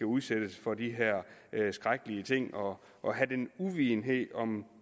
udsættes for de her skrækkelige ting og og have den uvidenhed om